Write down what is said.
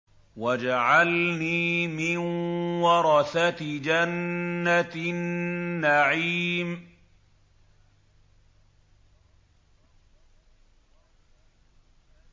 وَاجْعَلْنِي مِن وَرَثَةِ جَنَّةِ النَّعِيمِ